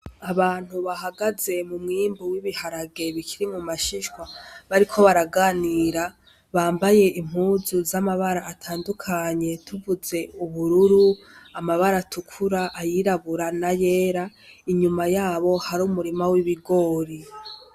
Abantu bahagaze mu mwimbu w'ibiharagebikiri mu mashishwa bariko baraganira bambaye impuzu z'amabara atandukanye tuvuze ubururu amabara tukura ayirabura na yera inyuma yabo hari umurima w'ibigori.